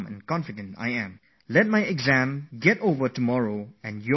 My exam gets over tomorrow and yours begin the dayafter